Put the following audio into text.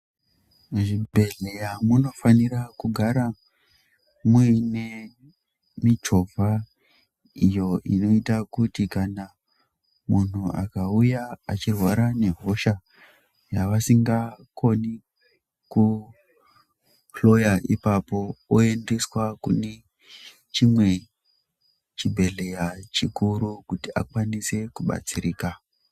Muzvibhedhlera munofanirwa kugare muine michovha iyo inoitwe kuti muntu akauya achirwara nehosha yavasingakoni kuhloya ipapo oendeswa kune chimwe chibhedhlera chikuru kuti akwanise kudetsereka .